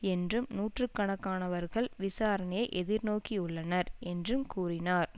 என்றும் நூற்றுக்காணக்கானவர்கள் விசாரணையை எதிர்நோக்கியுள்ளனர் என்றும் கூறினார்